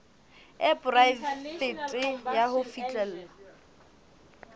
e poraefete ya ho fihlella